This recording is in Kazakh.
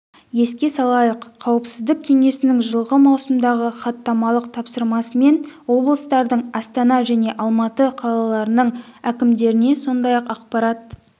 еске салайық қауіпсіздік кеңесінің жылғы маусымдағы хаттамалық тапсырмасымен облыстардың астана мен алматы қалаларының әкімдеріне сондай-ақ ақпарат